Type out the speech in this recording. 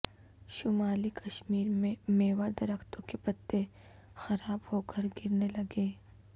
شمالی کشمیر میں میوہ درختوں کے پتے خراب ہوکر گرنے لگے